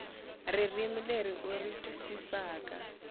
ririmi leri u ri twisisaka